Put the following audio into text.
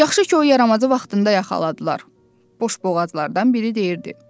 Yaxşı ki, o yaramazı vaxtında yaxaladılar, boşboğazlardan biri deyirdi.